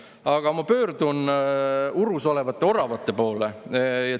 Aga ma pöördun urus olevate oravate poole.